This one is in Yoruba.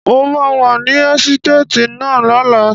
Mo máa wà ní ẹ́sítéètì náà lọ́la.